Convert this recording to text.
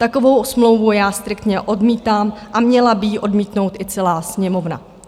Takovou smlouvu já striktně odmítám a měla by ji odmítnout i celá Sněmovna.